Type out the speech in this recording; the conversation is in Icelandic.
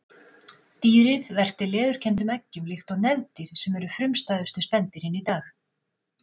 Dýrið verpti leðurkenndum eggjum líkt og nefdýr sem eru frumstæðustu spendýrin í dag.